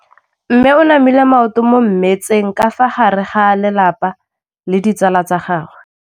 Mme o namile maoto mo mmetseng ka fa gare ga lelapa le ditsala tsa gagwe.